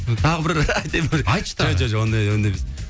тағы бір айтайын ба айтшы тағы жоқ ондай ондай емес